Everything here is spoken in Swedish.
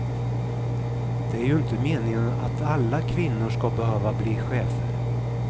Det är ju inte meningen att alla kvinnor ska behöva bli chefer.